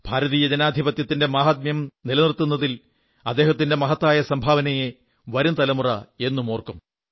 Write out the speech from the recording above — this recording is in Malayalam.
ഭാരതീയ ജനാധിപത്യത്തിന്റെ മഹാത്മ്യം നിലനിർത്തുന്നതിൽ അദ്ദേഹത്തിന്റെ മഹത്തായ സംഭാവനയെ വരം തലമുറ എന്നും ഓർമ്മവയ്ക്കും